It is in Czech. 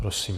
Prosím.